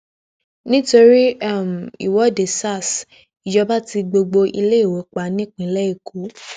nítorí um ìwọde sars ìjọba tí gbogbo iléèwé pa nípínlẹ èkó